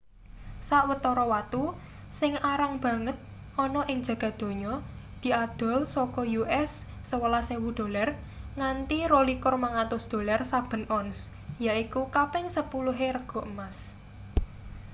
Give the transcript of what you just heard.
sawetara watu sing arang banget ana ing jagad donya diadol saka us$11.000 nganti $22.500 saben ons yaiku kaping sepuluhe rega emas